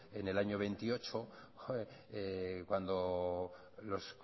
en el año veintiocho cuando los